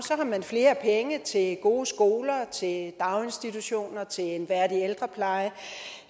har man flere penge til gode skoler til daginstitutioner til en værdig ældrepleje